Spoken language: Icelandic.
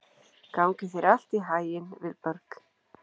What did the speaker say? Gangi þér allt í haginn, Vilberg.